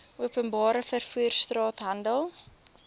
openbare vervoer straathandel